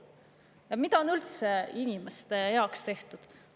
Ja mida on üldse inimeste heaks tehtud?